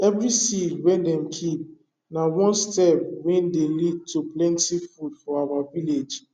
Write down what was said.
every seed wey dem keep na one step wey dey lead to plenti food for our village